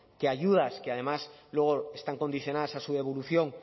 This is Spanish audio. que ayudas que además luego están condicionadas a su evolución